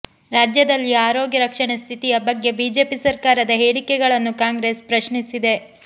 ರಾಜ್ಯದಲ್ಲಿಯ ಆರೋಗ್ಯ ರಕ್ಷಣೆ ಸ್ಥಿತಿಯ ಬಗ್ಗೆ ಬಿಜೆಪಿ ಸರಕಾರದ ಹೇಳಿಕೆಗಳನ್ನು ಕಾಂಗ್ರೆಸ್ ಪ್ರಶ್ನಿಸಿದೆ